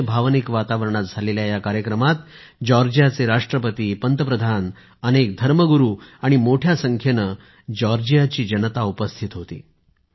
अतिशय भावनिक वातावरणात झालेल्या कार्यक्रमात जॉर्जियाचे राष्ट्रपती पंतप्रधान अनेक धर्मगुरू आणि मोठ्या संख्येने जॉर्जियाची जनता उपस्थित होती